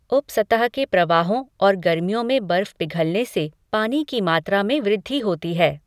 उपसतह के प्रवाहों और गर्मियों में बर्फ़ पिघलने से पानी की मात्रा में वृद्धि होती है।